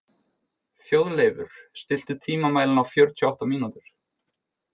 Þjóðleifur, stilltu tímamælinn á fjörutíu og átta mínútur.